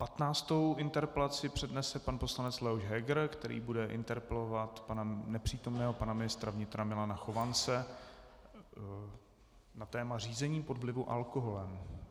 Patnáctou interpelaci přednese pan poslanec Leoš Heger, který bude interpelovat nepřítomného pana ministra vnitra Milana Chovance na téma řízení pod vlivem alkoholu.